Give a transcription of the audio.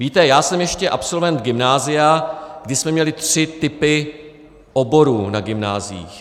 Víte, já jsem ještě absolvent gymnázia, kdy jsme měli tři typy oborů na gymnáziích.